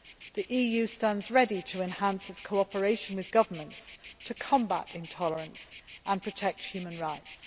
The EU stands ready to enhance its cooperation with governments in order to combat intolerance and protect human rights.